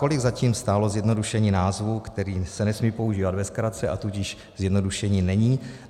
Kolik zatím stálo zjednodušení názvu, který se nesmí používat ve zkratce, a tudíž zjednodušením není?